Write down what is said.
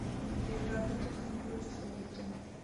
игра тоттенхэм против эвертон